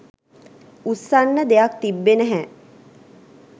උස්සන්න දෙයක් තිබ්බේ නැහැ.